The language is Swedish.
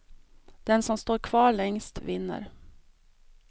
Den som står kvar längst vinner.